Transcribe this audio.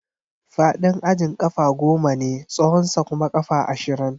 Faɗin ajin ƙafa goma ne, tsawonsa kuma ƙafa ashirin.